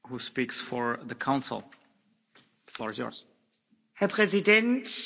Herr Präsident, verehrte Mitglieder des Europäischen Parlaments, meine Damen und Herren!